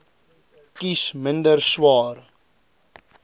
kies minder swaar